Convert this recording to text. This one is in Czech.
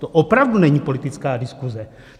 To opravdu není politická diskuze.